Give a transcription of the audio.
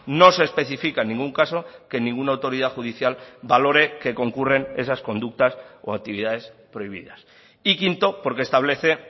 no se especifica en ningún caso que ninguna autoridad judicial valore que concurren esas conductas o actividades prohibidas y quinto porque establece